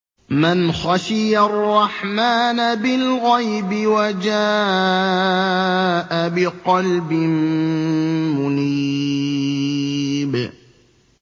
مَّنْ خَشِيَ الرَّحْمَٰنَ بِالْغَيْبِ وَجَاءَ بِقَلْبٍ مُّنِيبٍ